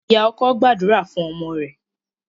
Ìyá ọkọ gbàdúrà fún ọmọ rẹ̀.